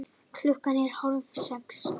Klukkan er hálfsex.